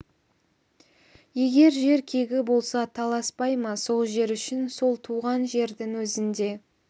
егер жер кегі болса таласпай ма сол жер үшін сол туған жердің өзінде